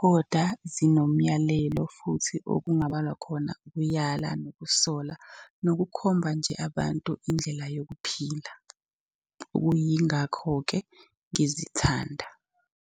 koda zinomyalelo futhi okungabalwa khona ukuyala, nokusola, nokukhomba nje abantu indlela yokuphila. Okuyingakho-ke ngizithanda.